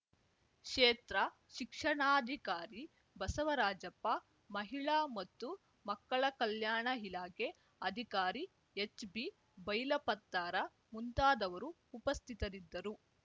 ಕ್ಷೇತ್ರ ಶಿಕ್ಷಣಾಧಿಕಾರಿ ಬಸವರಾಜಪ್ಪ ಮಹಿಳಾ ಮತ್ತು ಮಕ್ಕಳ ಕಲ್ಯಾಣ ಇಲಾಖೆ ಅಧಿಕಾರಿ ಎಚ್ಬಿ ಬೈಲಪತ್ತಾರ ಮುಂತಾದವರು ಉಪಸ್ಥಿತರಿದ್ದರು